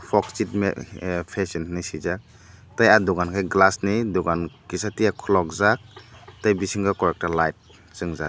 moksit me ah fashion hinui sijak tei ah dogan kei glass ni dogan kisatiya kologjak tei bisingo koi ekta light swngjak.